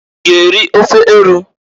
I g'eri ofe eru?